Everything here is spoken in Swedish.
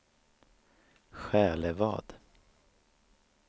Själevad